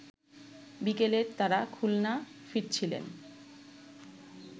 বিকেলে তারা খুলনা ফিরছিলেন